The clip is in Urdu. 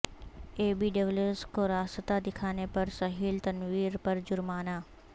اے بی ڈیویلیئرز کو راستہ دکھانے پر سہیل تنویر پر جرمانہ